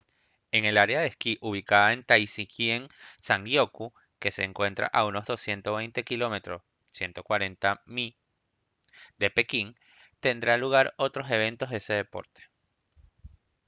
en el área de esquí ubicada en taizicheng zhangjiakou que se encuentra unos de 220 km 140 mi de pekín tendrán lugar otros eventos de ese deporte